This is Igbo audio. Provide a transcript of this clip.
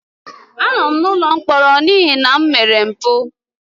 Anọ m n'ụlọ mkpọrọ n'ihi na m mere mpụ.